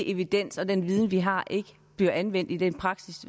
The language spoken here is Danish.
evidens og den viden vi har ikke bliver anvendt i praksis